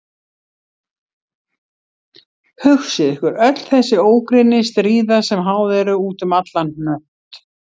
Hugsið ykkur öll þessi ógrynni stríða sem háð eru út um allan hnött.